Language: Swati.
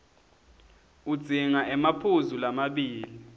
udzinga emaphuzu lamabili